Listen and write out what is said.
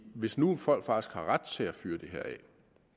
hvis nu folk faktisk har ret til at fyre det her af